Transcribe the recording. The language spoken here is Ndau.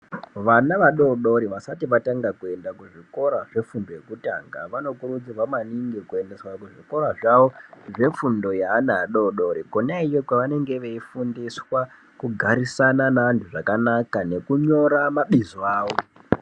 Vana vadodori vasati vatanga kuenda kuzvikora zvefundo yekutanga vanokurudzirwa maningi kuendeswa kuzvikora zvavo zvefundo yeana adodori , kona iyoyo kwavanenge veifundiswa kugarisana neantu zvakanaka nekunyora mabizo awo